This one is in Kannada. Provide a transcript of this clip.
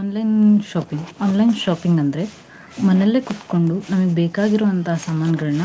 Online shopping, online shopping ಅಂದ್ರೆ ಮನೇಲೆ ಕೂತ್ಕೊಂಡು ನಮ್ಗ ಬೇಕಾಗಿರೋ ಅಂತ ಸಾಮಾನ್ಗಳ್ನ